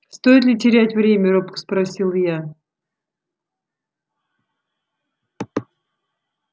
стоит ли терять время робко спросил я